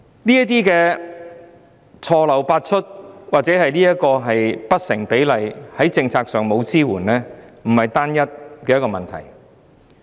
這些錯漏百出、不成比例、在政策上沒有支援的情況，並非單一問題。